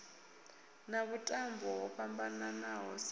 na vhuṱambo ho fhambananaho sa